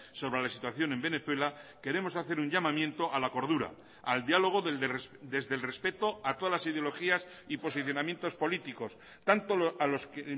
sobre la situación en venezuela queremos hacer un llamamiento a la cordura al diálogo desde el respeto a todas las ideologías y posicionamientos políticos tanto a los que